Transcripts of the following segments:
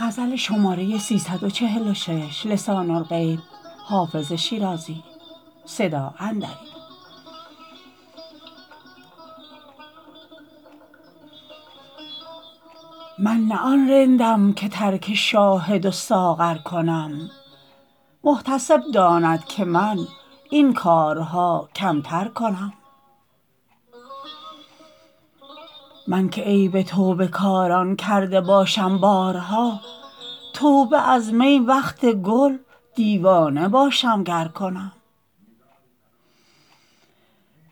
من نه آن رندم که ترک شاهد و ساغر کنم محتسب داند که من این کارها کمتر کنم من که عیب توبه کاران کرده باشم بارها توبه از می وقت گل دیوانه باشم گر کنم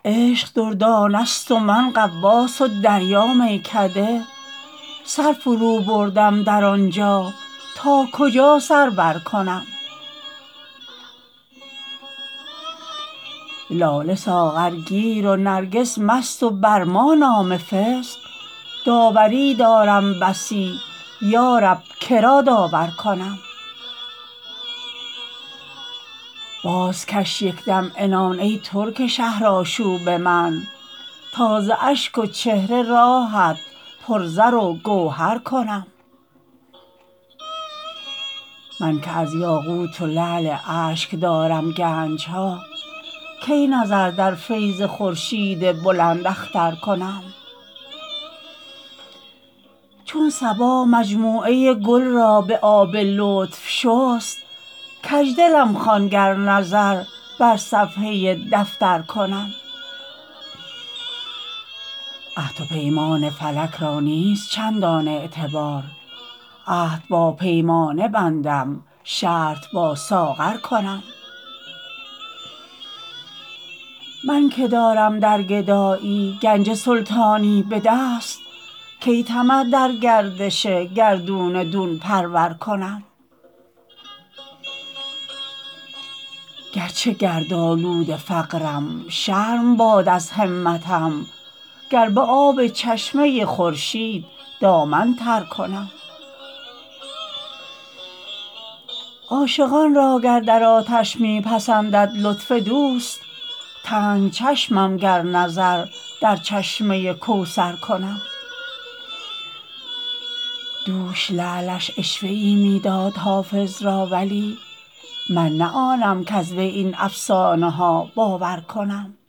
عشق دردانه ست و من غواص و دریا میکده سر فروبردم در آن جا تا کجا سر برکنم لاله ساغرگیر و نرگس مست و بر ما نام فسق داوری دارم بسی یا رب که را داور کنم بازکش یک دم عنان ای ترک شهرآشوب من تا ز اشک و چهره راهت پر زر و گوهر کنم من که از یاقوت و لعل اشک دارم گنج ها کی نظر در فیض خورشید بلنداختر کنم چون صبا مجموعه گل را به آب لطف شست کج دلم خوان گر نظر بر صفحه دفتر کنم عهد و پیمان فلک را نیست چندان اعتبار عهد با پیمانه بندم شرط با ساغر کنم من که دارم در گدایی گنج سلطانی به دست کی طمع در گردش گردون دون پرور کنم گر چه گردآلود فقرم شرم باد از همتم گر به آب چشمه خورشید دامن تر کنم عاشقان را گر در آتش می پسندد لطف دوست تنگ چشمم گر نظر در چشمه کوثر کنم دوش لعلش عشوه ای می داد حافظ را ولی من نه آنم کز وی این افسانه ها باور کنم